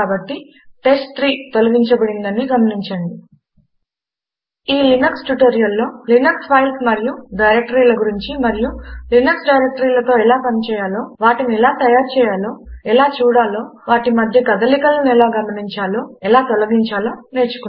కాబట్టి టెస్ట్3 తొలగించ బడినదని గమనించండి కాబట్టి ఈ లినక్స్ ట్యుటోరియల్లో మనము లినక్స్ ఫైల్స్ మరియు డైరెక్టరీల గురించి మరియు లినక్స్ డైరెక్టరీలతో ఎలా పనిచేయాలో వాటిని ఎలా తయారు చేయాలో ఎలా చూడాలో వాటి మధ్య కదలికలను ఎలా గమనించాలో ఎలా తొలగించాలో నేర్చుకొన్నాము